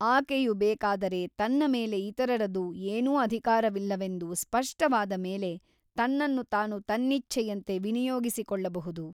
ಆಕೆಯು ಬೇಕಾದರೆ ತನ್ನ ಮೇಲೆ ಇತರರದು ಏನೂ ಅಧಿಕಾರವಿಲ್ಲವೆಂದು ಸ್ಪಷ್ಟವಾದ ಮೇಲೆ ತನ್ನನ್ನು ತಾನು ತನ್ನಿಚ್ಛೆಯಂತೆ ವಿನಿಯೋಗಿಸಿಕೊಳ್ಳಬಹುದು.